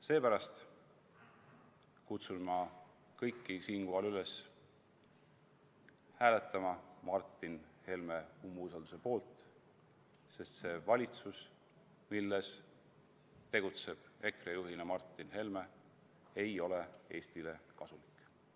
Seepärast kutsun ma kõiki siinkohal üles hääletama Martin Helme umbusaldamise poolt, sest see valitsus, milles tegutseb EKRE juht Martin Helme, ei ole Eestile kasulik.